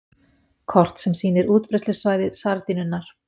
Kort sem sýnir útbreiðslusvæði sardínunnar.